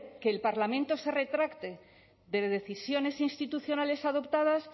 que el parlamento se retracte de decisiones institucionales adoptadas